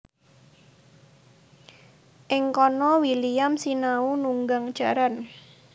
Ing kana William sinau nunggang jaran